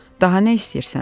Daha nə istəyirsən?